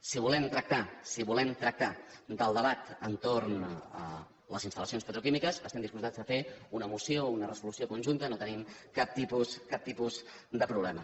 si volem tractar del debat entorn de les instal·lacions petroquímiques estem disposats a fer una moció o una resolució conjunta no tenim cap tipus de problema